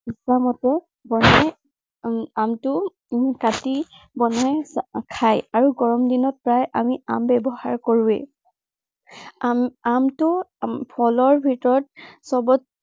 ইচ্ছা মতে বজাৰত উম আমটো উম কাটি বনাই খায়। আৰু গৰম দিনত আমি প্ৰায় আম ব্য়ৱহাৰ কৰোৱেই। আম আমটো ফলৰ ভিতৰত সৱত